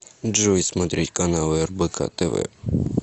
джой смотреть каналы рбк тв